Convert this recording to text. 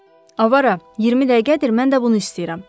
Avara, 20 dəqiqədir mən də bunu istəyirəm.